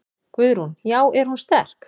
Guðrún: Já er hún sterk?